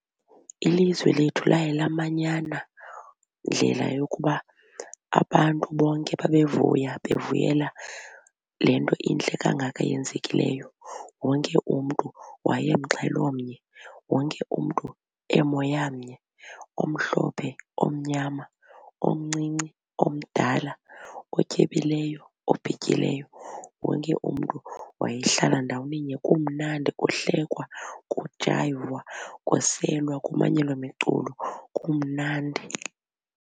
Ilizwe lethu laye lamanyana ndlela yokuba abantu bonke babevuya bevuyela le nto intle kangaka yenzekileyo. Wonke umntu wayemxhelomnye wonke umntu emoyamnye omhlophe omnyama omncinci omdala otyebileyo obhityileyo wonke umntu wayehlala ndawoninye kumnandi kuhlekwa kujayivwa kuselwa kumanyelwa miculo kumnandi.